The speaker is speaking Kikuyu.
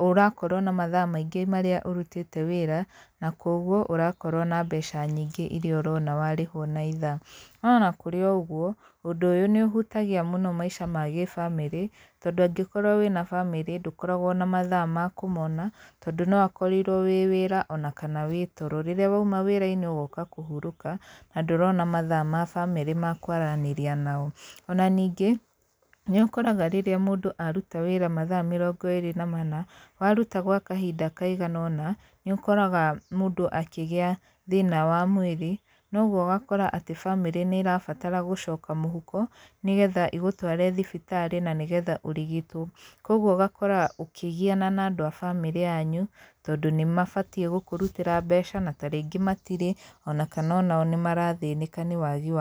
ũrakorwo na mathaa maingĩ marĩa ũrutĩte wĩra, na kũguo, ũrakorwo na mbeca nyingĩ irĩa ũrona warĩhwo na ithaa. No ona kũrĩ o ũguo, ũndũ ũyũ nĩ ũhutagia mũno maica ma gĩbamĩrĩ, tondũ angĩkorwo wĩna bamĩrĩ ndũkoragwo na mathaa ma kũmona tondũ no akorirwo wĩ wĩra ona kana wĩ toro. Rĩrĩa wauma wĩra-inĩ ũgoka kũhurũka na ndũrona mathaa ma bamĩrĩ ma kwaranĩria nao. Ona ningĩ, nĩ ũkoraga rĩrĩa mũndũ aruta wĩra mathaa mĩrongo ĩrĩ na mana, waruta gwa kahinda kaigana ũna, nĩ ũkoraga mũndũ akĩgĩa thĩna wa mwĩrĩ, na ũguo ũgakora atĩ bamĩrĩ nĩ ĩrabatara gũcoka mũhuko, nĩgetha ĩgũtware thibitarĩ na nĩgetha ũrigitwo. Kũguo ũgakora ũkĩgiana na andũ a bamĩrĩ yanyu tondũ nĩ mabatiĩ gũkũrutĩra mbeca na tarĩngĩ matirĩ ona kana ona o nĩ marathĩnĩka nĩ wagi wa mbeca.